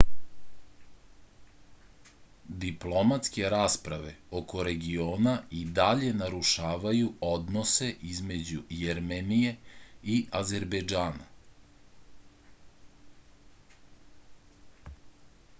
diplomatske rasprave oko regiona i dalje narušavaju odnose između jermenije i azerbejdžana